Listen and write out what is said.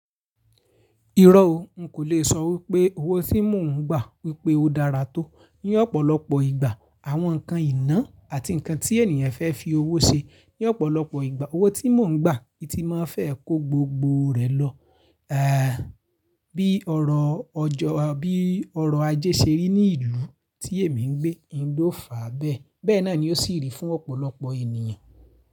Irọ́ o, n kò le sọ wípé owó tí mò ń gbà wípé ó dára tó. Ní ọ̀pọ̀lọpọ̀ ìgbà àwọn nǹkan ìná àti nǹkan tí ènìyàn fẹ́ fi owó ṣe. Ní ọ̀pọ̀lọpọ̀ ìgbà owó tí mò ń gbà ti máa fẹ́ kó gbogbo rẹ̀ lọ. À bí ọrọ̀ ọjọ́ àbí ọrọ̀ ajé ṣeré ní ìlú tí èmi ń gbé, n ò fà á bẹ́ẹ̀. Bẹ́ẹ̀ náà ni ó sì rí fún ọ̀pọ̀lọpọ̀ ènìyàn.